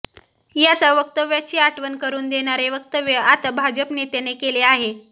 याचा वक्तव्याची आठवण करून देणारे वक्तव्य आता भाजप नेत्याने केले आहे